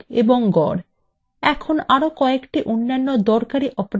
এখন আরো কয়েকটি অন্যান্য দরকারী operators সম্পর্কে জানা যাক